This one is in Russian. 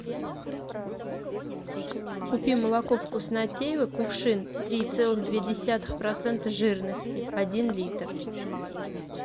купи молоко вкуснотеево кувшин три целых две десятых процента жирности один литр